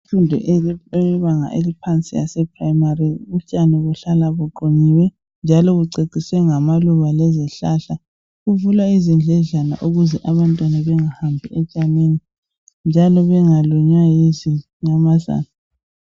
Imfundo eyebanga elaphansi yasephurayimari utshani buhlala buqunyiwe njalo kuceciswe ngamaluba lezihlahla. Kuvulwa izindledlana ukuze abantwana bengahambi otshanini njalo bengalunywa yznyamazana.